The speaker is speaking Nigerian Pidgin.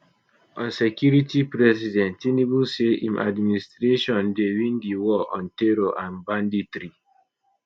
on security president tinubu say im administration dey win di war on terror and banditry